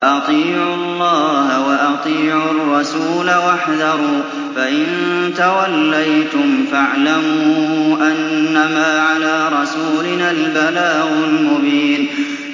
وَأَطِيعُوا اللَّهَ وَأَطِيعُوا الرَّسُولَ وَاحْذَرُوا ۚ فَإِن تَوَلَّيْتُمْ فَاعْلَمُوا أَنَّمَا عَلَىٰ رَسُولِنَا الْبَلَاغُ الْمُبِينُ